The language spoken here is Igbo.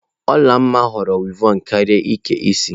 Olanma na-ahọrọ wịevọn karịa ịke isi.